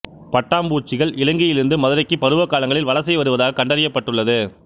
பட்டாம் பூச்சிகள் இலங்கையிலிருந்து மதுரைக்கு பருவகாலங்களில் வலசை வருவதாக கண்டறியப்பட்டுள்ளது